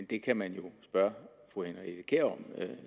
det kan man jo spørge fru henriette kjær om